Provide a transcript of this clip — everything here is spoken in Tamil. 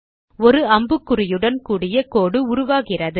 ஒரு அம்புக்குறியுடன் கூடிய கோடு உருவாகிறது